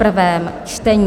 prvé čtení